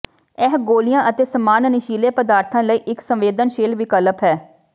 ਇਹ ਗੋਲੀਆਂ ਅਤੇ ਸਮਾਨ ਨਸ਼ੀਲੇ ਪਦਾਰਥਾਂ ਲਈ ਇਕ ਸੰਵੇਦਨਸ਼ੀਲ ਵਿਕਲਪ ਹੈ